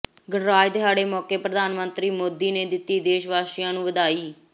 ਗਣਰਾਜ ਦਿਹਾੜੇ ਮੌਕੇ ਪ੍ਰਧਾਨ ਮੰਤਰੀ ਮੋਦੀ ਨੇ ਦਿੱਤੀ ਦੇਸ਼ਵਾਸੀਆਂ ਨੂੰ ਵਧਾਈ